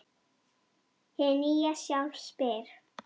Hið nýja sjálf spyr